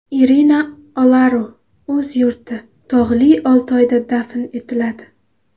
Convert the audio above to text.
Irina Olaru o‘z yurti, Tog‘li Oltoyda dafn etiladi.